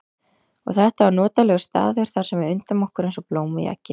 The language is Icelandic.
Og þetta var notalegur staður þar sem við undum okkur eins og blóm í eggi.